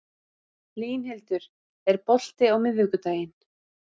Línhildur, er bolti á miðvikudaginn?